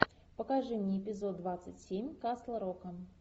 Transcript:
покажи мне эпизод двадцать семь касл рока